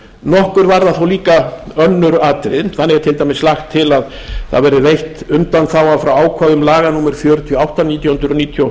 nokkur varða þó önnur atriði þannig er til dæmis lagt til að það verði veitt undanþága frá ákvæðum laga númer fjörutíu og átta nítján hundruð níutíu og